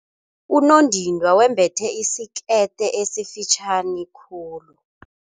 Unondindwa wembethe isikete esifitjhani khulu.